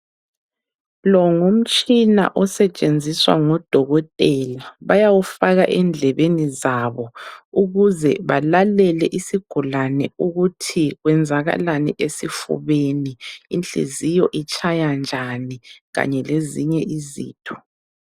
Lo ngumtshina osetshenziswa ngodokotela. Bayawufaka endlebeni zabo ukuze balalele isigulane ukuthi kwenzakalani esifubeni. Inhliziyo itshaya njani kanye lezinye izitho.